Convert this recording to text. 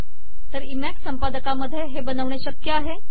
तर इमेक संपदकामध्ये हे बनवणे शक्य आहे